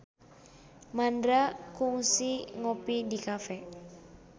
Mandra kungsi ngopi di cafe